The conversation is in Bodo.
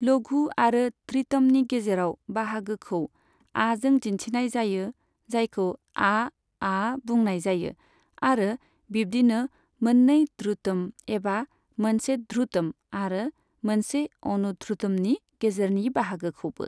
लघु आरो धृतमनि गेजेराव बाहागोखौ आजों दिनथिनाय जायो जायखौ आ आ बुंनाय जायो, आरो बिबदिनो मोननै ध्रुतम एबा मोनसे ध्रुतम आरो मोनसे अनुध्रुतमनि गेजेरनि बाहागोखौबो।